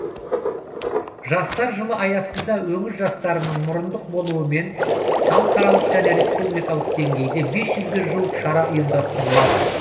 жастар жылы аясында өңір жастарының мұрындық болуымен халықаралық және республикалық деңгейде бес жүзге жуық шара ұйымдастырылады